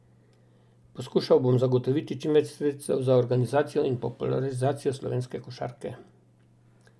Poskušal bom zagotoviti čim več sredstev za organizacijo in popularizacijo slovenske košarke.